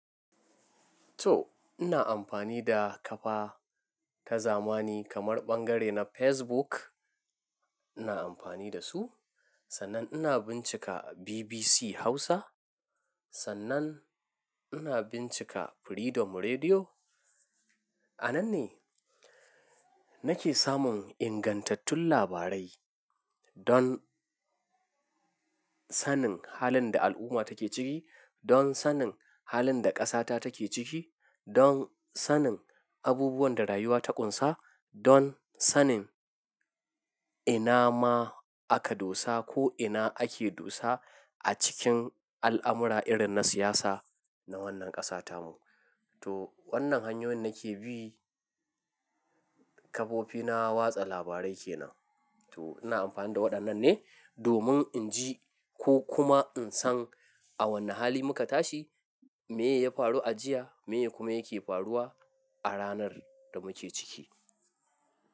To ina amfani da kafa ta zamani kamar bangare na Facebook. Ina amfani da su, sannan ina bincika BBC Hausa, sannan ina bincika Freedom Radio. A nan ne nake samun ingantattun labarai don sanin halin da al'umma take ciki, don sanin halin da ƙasata take ciki, don sanin abubuwan da rayuwa ta ƙunsa, don sanin ina ma aka dosa ko ina ake dosa a cikin al'amura irin na siyasa na wannan ƙasata mu. To wannan hanyoyin nake bi, kafofina watsa labarai kenan. To ina amfani da waɗannan ne domin in ji ko kuma in san a wane hali muka tashi, me ya faru a jiya, me kuma yake faruwa a ranar da muke ciki.